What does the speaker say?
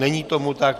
Není tomu tak.